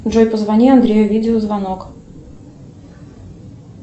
джой позвони андрею видеозвонок